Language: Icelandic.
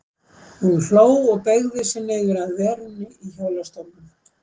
Hún hló og beygði sig niður að verunni í hjólastólnum.